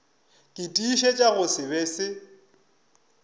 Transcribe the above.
ke tiišetša go se be